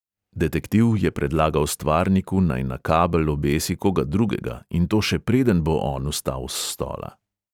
Detektiv je predlagal stvarniku, naj na kabel obesi koga drugega, in to še preden bo on vstal s stola.